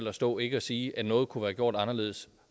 at stå og ikke sige at noget kunne være gjort anderledes